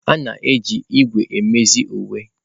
A na-eji ígwè emezi uwe.